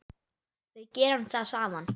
Við gerum það saman.